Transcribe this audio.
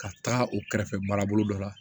Ka taga o kɛrɛfɛ marabolo dɔ la